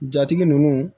Jatigi ninnu